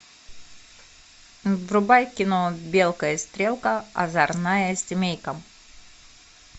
врубай кино белка и стрелка озорная семейка